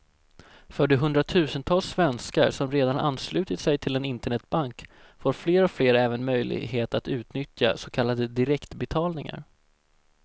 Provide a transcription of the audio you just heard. För de hundratusentals svenskar som redan anslutit sig till en internetbank får fler och fler även möjlighet att utnyttja så kallade direktbetalningar.